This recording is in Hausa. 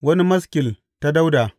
Wani maskil ta Dawuda.